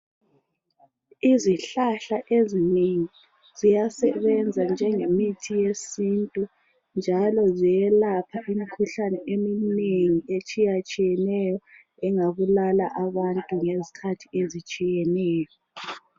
Izihlahla ezinengi ziyasebenza njengemithi yesintu njalo ziyelapha imikhuhlane eminengi etshiyatshiyeneyo engabulala abantu ngezikhathi ezitshiyeneyo